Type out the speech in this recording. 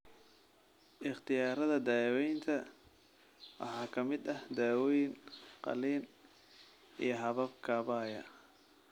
Ikhtiyaarada daawaynta waxaa ka mid ah dawooyin, qalliin, iyo habab kaabaya.